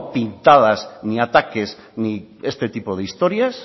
pintadas ni ataques ni este tipo de historias